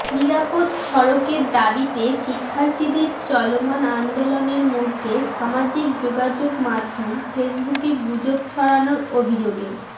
নিরাপদ সড়কের দাবিতে শিক্ষার্থীদের চলমান আন্দোলনের মধ্যে সামাজিক যোগাযোগমাধ্যম ফেসবুকে গুজব ছড়ানোর অভিযোগে